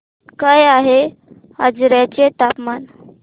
काय आहे आजर्याचे तापमान